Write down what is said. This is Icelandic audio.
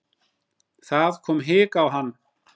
Það kom hik á hann.